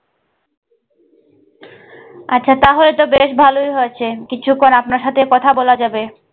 আচ্ছা তাহলে তো বেশ ভালোই হয়েছে কিছুক্ষণ আপনার সাথে কথা বলা যাবে।